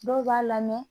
Dɔw b'a lamɛn